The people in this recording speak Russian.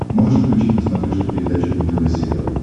можешь включить на смотрешке передачу нтв сериал